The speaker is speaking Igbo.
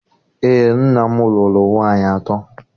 Eé, nna m lụrụ nwaanyị atọ.